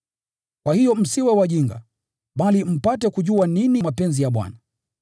Kwa hiyo msiwe wajinga, bali mpate kujua nini mapenzi ya Bwana.